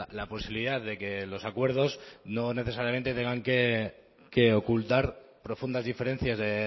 la posibilidad de que los acuerdos no necesariamente tengan que ocultar profundas diferencias de